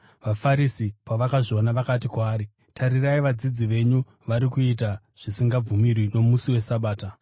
VaFarisi pavakazviona, vakati kwaari, “Tarirai, vadzidzi venyu vari kuita zvisingabvumirwi nomusi weSabata.”